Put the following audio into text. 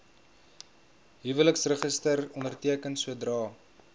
huweliksregister onderteken sodra